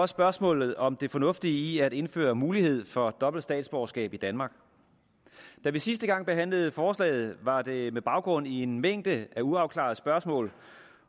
spørgsmålet om det fornuftige i at indføre mulighed for dobbelt statsborgerskab i danmark da vi sidste gang behandlede forslaget var det med baggrund i en mængde af uafklarede spørgsmål